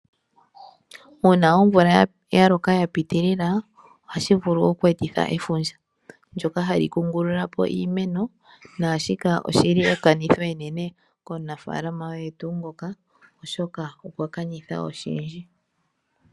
Uuna omvula yaloka yapitilila ohashi vulu oku etitha efundja, ndyoka hali kungulula po iimeno. Naashika oshili ekanitho enene komunafaalama oye tuu ngoka oshoka okwa kanitha oshindji.